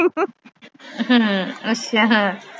ਹਮ ਅੱਛਾ।